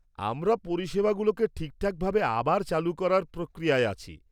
আমরা পরিষেবাগুলোকে ঠিকঠাকভাবে আবার চালু করার প্রক্রিয়ায় আছি।